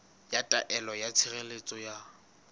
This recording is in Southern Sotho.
ya taelo ya tshireletso ya